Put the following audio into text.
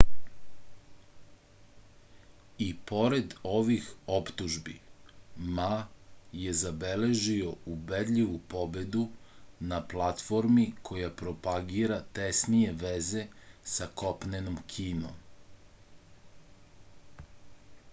i pored ovih optužbi ma je zabeležio ubedljivu pobedu na platformi koja propagira tesnije veze sa kopnenom kinom